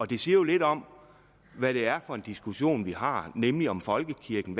det siger jo lidt om hvad det er for en diskussion vi har nemlig om folkekirken